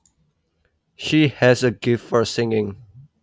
She has a gift for singing